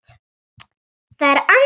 Það er Anna.